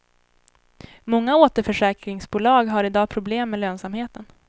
Många återförsäkringsbolag har i dag problem med lönsamheten.